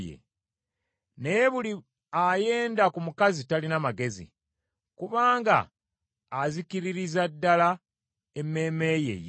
Naye buli ayenda ku mukazi talina magezi; kubanga azikiririza ddala emmeeme ye ye.